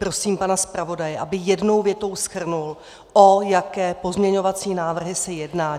Prosím pana zpravodaje, aby jednou větou shrnul, o jaké pozměňovací návrhy se jedná.